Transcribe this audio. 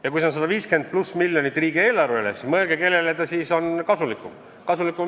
Ja kui see on 150+ miljonit riigieelarvele, siis mõelge, kellele see siis on kasulik!